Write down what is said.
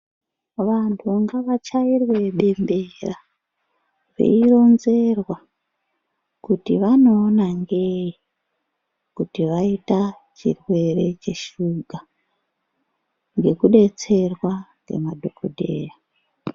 Vantu ngavachairwe bembera veironzerwa kuti vanoona ngei kuti vaita chirwere cheshuga ngekudetserwa ngemadhokodheya.